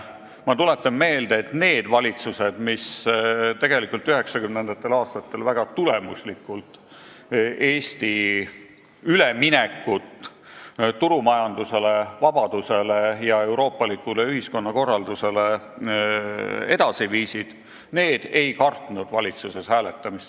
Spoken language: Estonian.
Ma tuletan meelde, et need valitsused, mis 1990. aastatel väga tulemuslikult Eesti üleminekut turumajandusele, vabadusele ja euroopalikule ühiskonnakorraldusele edasi viisid, ei kartnud valitsuses hääletamist.